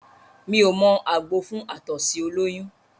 Mí ò mọ àgbo fún àtọ̀sí ọlọ́yún